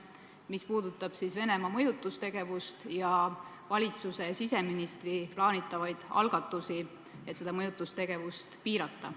See puudutab Venemaa mõjutustegevust ja valitsuse siseministri plaanitavaid algatusi, et seda mõjutustegevust piirata.